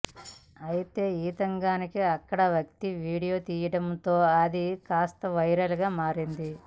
అయితే ఈ తతంగాన్ని అక్కడి వ్యక్తి వీడియో తీయడం తో అది కాస్త వైరల్ గా మారింది